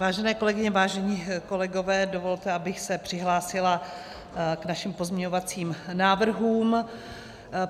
Vážené kolegyně, vážení kolegové, dovolte, abych se přihlásila k našim pozměňovacím návrhům.